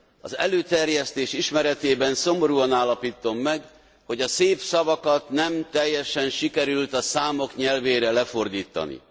Az előterjesztés ismeretében szomorúan állapítom meg, hogy a szép szavakat nem teljesen sikerült a számok nyelvére lefordítani.